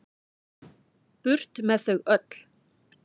Burt með þau öll.